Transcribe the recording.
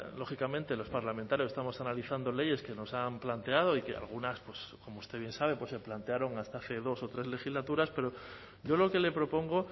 lógicamente los parlamentarios estamos analizando leyes que nos han planteado y que algunas como usted bien sabe pues se plantearon hasta hace dos o tres legislaturas pero yo lo que le propongo